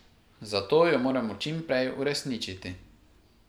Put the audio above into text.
Zato jo moramo čim prej uresničiti.